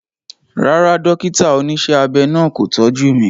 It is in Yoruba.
Rárá, dókítà oníṣẹ́ abẹ náà kò tọ́jú mi